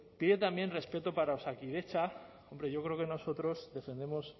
pide también respeto para osakidetza hombre yo creo que nosotros defendemos